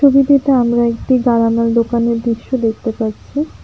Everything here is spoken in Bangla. ছবিটিতে আমরা একটি গারামের দোকানের দৃশ্য দেখতে পাচ্ছি।